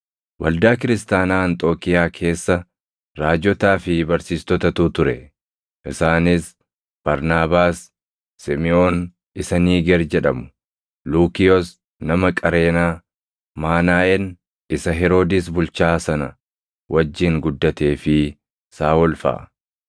Waldaa kiristaanaa Anxookiiyaa keessa Raajotaa fi barsiistotatu ture; isaanis Barnaabaas, Simiʼoon isa Niiger jedhamu, Luukiyoos nama Qareenaa, Maanaaʼen isa Heroodis bulchaa sana wajjin guddatee fi Saaʼol faʼa.